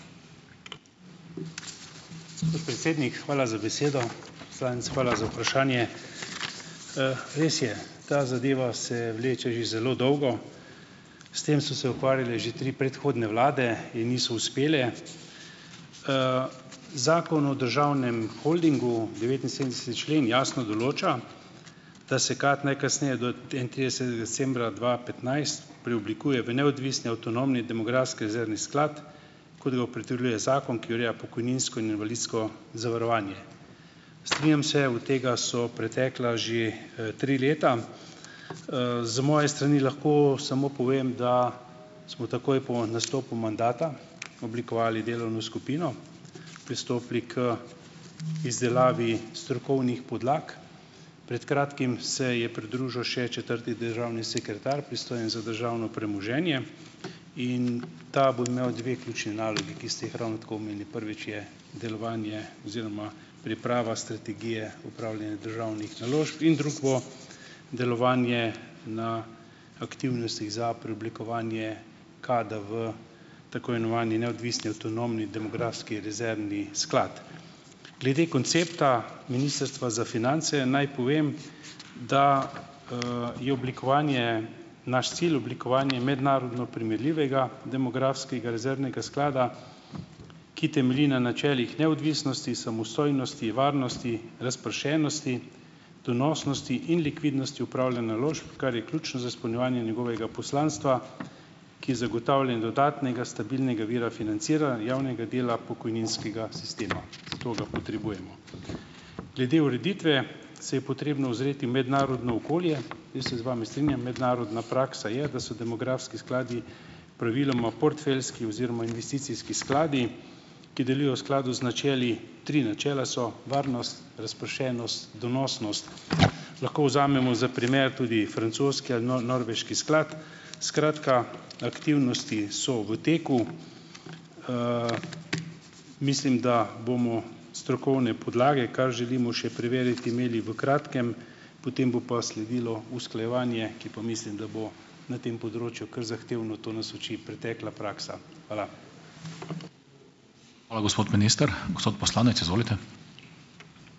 Gospod predsednik, hvala za besedo. Poslanec, hvala za vprašanje. Res je, ta zadeva se vleče že zelo dolgo. S tem so se ukvarjale že tri predhodne vlade in niso uspele. Zakon o državnem holdingu, devetinsedemdeseti člen jasno določa, da se KAD najkasneje do enaintridesetega decembra dva petnajst preoblikuje v neodvisni avtonomni Demografski rezervni sklad, kot ga opredeljuje zakon, ki ureja pokojninsko in invalidsko zavarovanje. Strinjam se , od tega so pretekla že, tri leta. Z moje strani lahko samo povem, da smo takoj po nastopu mandata oblikovali delovno skupino, pristopili k izdelavi strokovnih podlag. Pred kratkim se je pridružil še četrti državni sekretar, pristojen za državno premoženje in ta bo imel dve ključni nalogi, ki ste jih ravno tako omenili. Prvič je delovanje oziroma priprava strategije upravljanja državnih naložb in drug bo delovanje na aktivnostih za preoblikovanje. KAD-a v tako imenovani neodvisni avtonomni Demografski rezervni sklad. Glede koncepta Ministrstva za finance naj povem, da, je oblikovanje , naš cilj oblikovanje mednarodno primerljivega demografskega rezervnega sklada, ki temelji na načelih neodvisnosti, samostojnosti, varnosti, razpršenosti, donosnosti in likvidnosti upravljanja naložb, kar je ključno za izpolnjevanje njegovega poslanstva, ki zagotavlja dodatnega stabilnega vira financira javnega dela pokojninskega sistema . Zato ga potrebujemo. Glede ureditve se je potrebno ozreti v mednarodno okolje. Jaz se z vami strinjam. Mednarodna praksa je, da so demografski skladi praviloma portfeljski oziroma investicijski skladi, ki delujejo v skladu z načeli, tri načela so, varnost, razpršenost, donosnost. Lahko vzamemo za primer tudi francoski ali norveški sklad. Skratka, aktivnosti so v teku. Mislim, da bomo strokovne podlage, kar želimo še preveriti, imeli v kratkem. Potem bo pa sledilo usklajevanje, ki pa mislim, da bo na tem področju kar zahtevno, to nas uči pretekla praksa. Hvala.